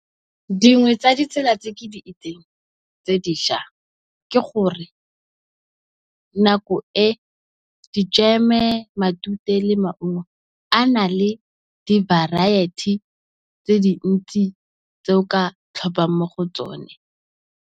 Dingwe tsa di tsela tse ke di itseng tse dišwa, ke gore nako e di jeme, matute le maungo a na le di variety tse dintsi tse o ka tlhophang mo go tsone.